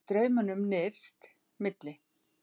Með straumnum nyrst, milli